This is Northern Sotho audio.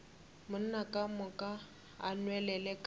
ka moka o nwelele ka